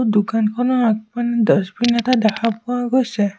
দোকানখনৰ আগপিন ডাচবিন এটা দেখা পোৱা গৈছে।